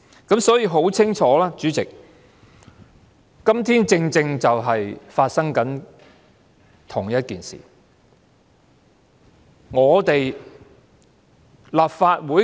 因此，很清楚，主席，今天正正就是發生了相同的事情。